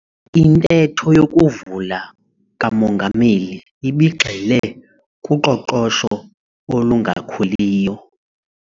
Intetho yokuvula kamongameli ibigxile kuqoqosho olungakhuliyo